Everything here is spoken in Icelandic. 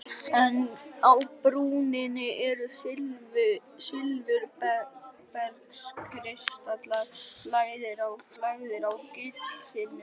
En á brúninni eru silfurbergskristallar lagðir á gullþynnur.